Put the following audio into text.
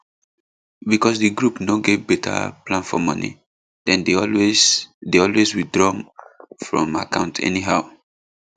because di group no get better plan for money dem dey always dey always withdraw from account anyhow